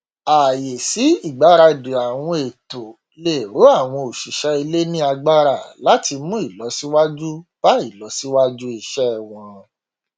ààyè sí ìgbaradì àwọn ètò le ró àwọn òṣìṣẹ ilé ní agbára láti mú ìlọsíwájú bá ìlọsíwájú iṣẹ wọn